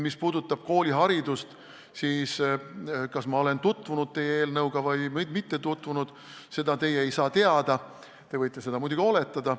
Mis puudutab kooliharidust, siis seda, kas ma olen teie eelnõuga tutvunud või mitte, teie teada ei saa, te võite seda muidugi oletada.